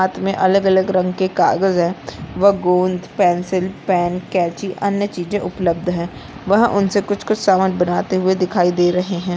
रात में अलग-अलग रंग के कागज है वह गोंद पेंसिल पेन कैंची अन्य चीज उपलब्ध है वह उनसे कुछ कुछ सामान बनाते हुए दिखाई दे रहे है।